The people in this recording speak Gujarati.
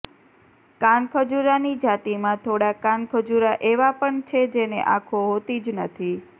કાનખજૂરાની જાતિમાં થોડા કાનખજૂરા એવા પણ છે જેને આંખો હોતી જ નથી